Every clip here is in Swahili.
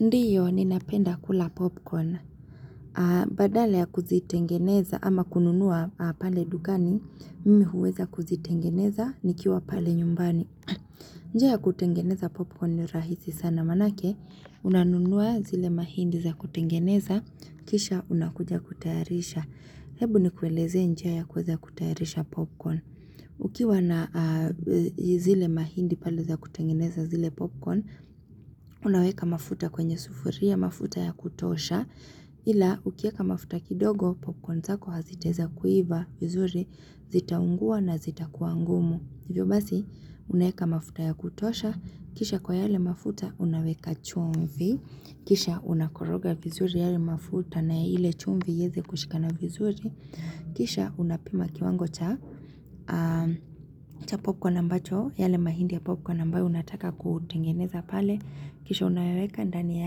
Ndiyo, ninapenda kula popcorn. Badala ya kuzitengeneza ama kununua pale dukani, mimi huweza kuzitengeneza nikiwa pale nyumbani. Njiaya kutengeneza popcorn ni rahisi sana manake, unanunua zile mahindi za kutengeneza, kisha unakuja kutayarisha. Hebu ni kuelezee njiaya kuweza kutayarisha popcorn. Ukiwa na zile mahindi paleza kutengeneza zile popcorn, unaweka mafuta kwenye sufuria, mafuta ya kutosha, ila ukieka mafuta kidogo, popcorn zako hazitaeza kuiva vizuri, zitaungua na zita kuwa ngumu. Hivyo basi, unaeka mafuta ya kutosha, kisha kwa yale mafuta unaweka chumvi, kisha unakoroga vizuri yale mafuta na ile chumvi ieze kushika na vizuri, kisha unapima kiwango cha cha popcorn ambacho, yale mahindi ya popcorn ambayo unataka kutengeneza pale, kisha unayaweka ndani ya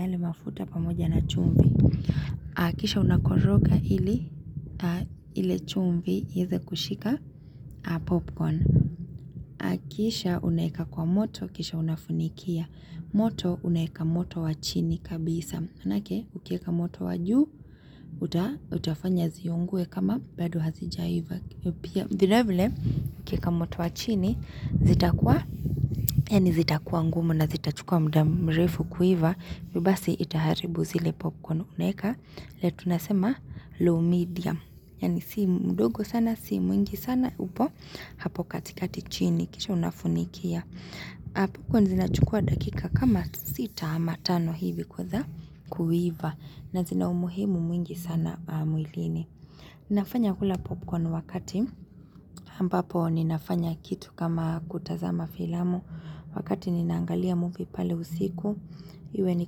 yale mafuta pamoja na chumvi. Kisha unakoroga ili, ile chumvi ieze kushika popcorn. Akisha unaeka kwa moto kisha unafunikia moto unaeka moto wachini kabisa manake ukieka moto wajuu uta utafanya ziungue kama bado hazijaiva pia vilevile ukieka moto wachini zita kuwa yaani zita kuwa ngumu na zita chukua mda mrefu kuiva hivyo basi itaharibu zile popcorn unaeka le tunasema low medium yani sii mdogo sana sii mwingi sana upo hapo katikati chini kisha unafunikia popcorn zinachukua dakika kama sita ama tano hivi kuweza kuiva na zina umuhimu mwingi sana mwilini nafanya kula popcorn wakati ampapo ninafanya kitu kama kutazama filamu wakati ninaangalia movie pale usiku iwe ni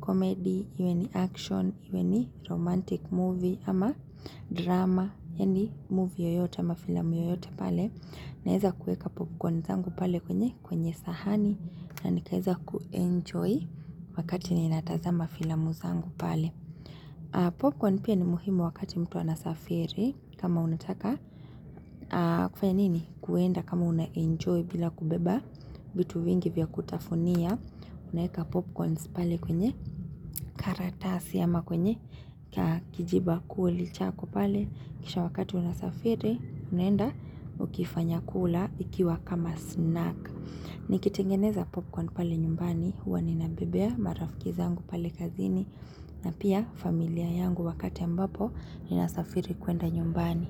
comedy iwe ni action iwe ni romantic movie ama drama yaani movie yoyote ama filamu yoyote pale naeza kuweka popcorn zangu pale kwenye kwenye sahani na nikaeza kuenjoy wakati ninatazama filamu zangu pale popcorn pia ni muhimu wakati mtu anasafiri kama unataka kufanya nini kuenda kama unanjoy bila kubeba vitu vingi vya kutafunia unaeka popcorns pale kwenye karatasi ama kwenye kakijiba kuli chako pale kisha wakati unasafiri unaenda ukifanya kula ikiwa kama snack Nikitengeneza popcorn pale nyumbani huwa ninabebea marafiki zangu pale kazini na pia familia yangu wakati ambapo ninasafiri kwenda nyumbani.